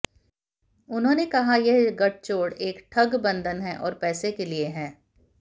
उन्होंने कहा यह गठजोड़ एक ठगबंधन है और पैसे के लिए है